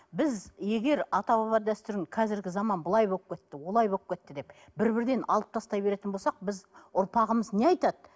біз егер ата баба дәстүрін қазіргі заман былай болып кетті олай болып кетті деп бір бірден алып тастай беретін болсақ біз ұрпағымыз не айтады